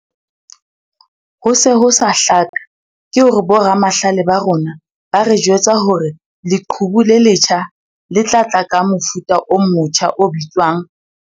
Ho se ho sa hlaka ke hore boramahlale ba rona ba re jwetsa hore leqhubu le letjha le tla tla ka mofuta o motja o bitswang.